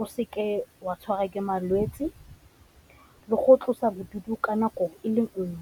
o seke wa tshwarwa ke malwetse le go tlosa bodutu ka nako e le nngwe.